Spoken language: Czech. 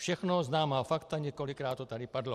Všechno známá fakta, několikrát to tady padlo.